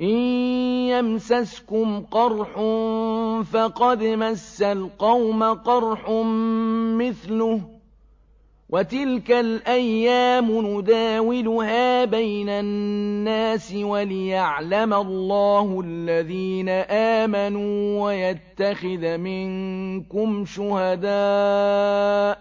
إِن يَمْسَسْكُمْ قَرْحٌ فَقَدْ مَسَّ الْقَوْمَ قَرْحٌ مِّثْلُهُ ۚ وَتِلْكَ الْأَيَّامُ نُدَاوِلُهَا بَيْنَ النَّاسِ وَلِيَعْلَمَ اللَّهُ الَّذِينَ آمَنُوا وَيَتَّخِذَ مِنكُمْ شُهَدَاءَ ۗ